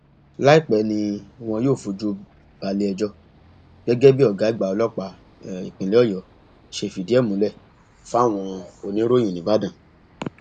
láìpẹ ni wọn yóò fojú balẹẹjọ gẹgẹ bí ọgá àgbà ọlọpàá ìpínlẹ ọyọ ṣe fìdí ẹ múlẹ fáwọn oníròyìn nìbàdàn